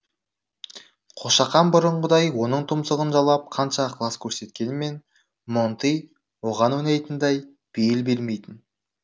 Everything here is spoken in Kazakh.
қошақан бұрынғыдай оның тұмсығын жалап қанша ықылас көрсеткенмен монтый оған ойнайтындай бейіл бермейтін